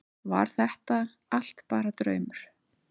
Var þetta allt bara draumur?